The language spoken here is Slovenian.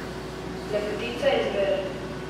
Lepotica in zver.